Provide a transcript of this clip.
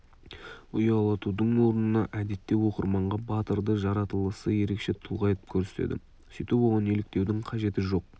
ұялатудың орнына әдетте оқырманға батырды жаратылысы ерекше тұлға етіп көрсетеді сөйтіп оған еліктеудің қажеті жоқ